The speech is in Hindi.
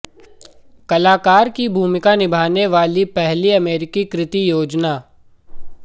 कलाकार की भूमिका निभाने वाली पहली अमेरिकी कृति योजना